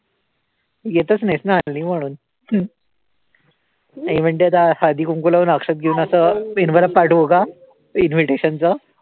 येतच नाहीस ना हल्ली म्हणून आई म्हणते, आता हळदी, कुंकू लावून अक्षत घेऊन असं envelope पाठवू का invitation चं?